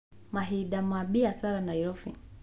Mahinda ma biacara Nairobi